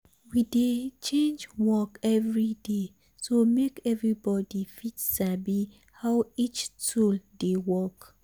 we dey change work every day so make everybody fit sabi how each tool dey work.